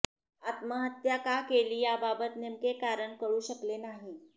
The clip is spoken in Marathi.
आत्महत्या का केली याबाबत नेमके कारण कळु शकले नाही